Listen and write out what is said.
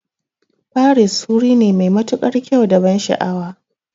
Paris wuri ne mai matuƙar kyau da ban sha'awa